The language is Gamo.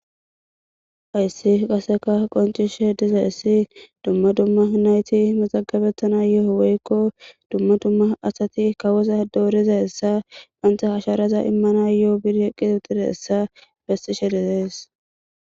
Hayssi qaseka qoncishe dizeessi dumma dumma nayti maxagabettanayoo woykko dumma dumma asati kawoza doorizaessa bahanta hasharaza immana yo7o bir eqqix uxireessa besishe dizees